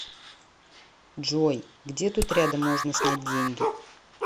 джой где тут рядом можно снять деньги